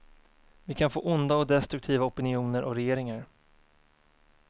Vi kan få onda och destruktiva opinioner och regeringar.